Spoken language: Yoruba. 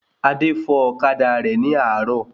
Adé fò ọ̀kadà rẹ̀ ní àárò